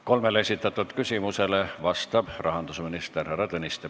Kolmele esitatud küsimusele vastab rahandusminister härra Tõniste.